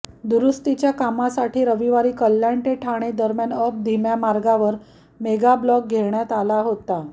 दुरुस्तीच्या कामासाठी रविवारी कल्याण ते ठाणे दरम्यान अप धीम्या मार्गावर मेगाब्लॉक घेण्यात आला होता